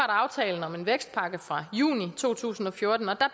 aftalen om en vækstpakke fra juni to tusind og fjorten og der